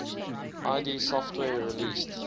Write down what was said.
id software released